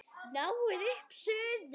Náið upp suðu.